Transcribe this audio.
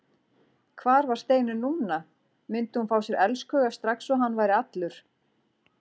Hvar var Steinunn núna, myndi hún fá sér elskhuga strax og hann væri allur?